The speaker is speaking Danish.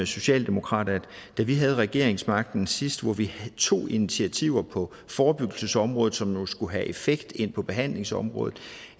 socialdemokrat at da vi havde regeringsmagten sidst hvor vi tog initiativer på forebyggelsesområdet som jo skulle have effekt ind på behandlingsområdet